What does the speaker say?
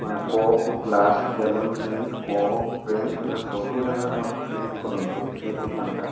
ମାନେ cup glass balloon print cup print ଏମିତି ସବୁ ଜାଗା ରେ ମାନେ ଫ୍ରିଣ୍ଟ କରନ୍ତି ସେଇ ଦୋକାନ ଟା --